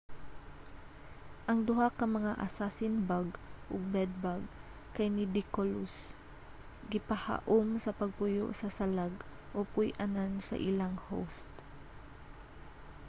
ang duha ka mga assassin-bug ug bed-bug kay nidicolous gipahaum sa pagpuyo sa salag o puy-anan sa ilang host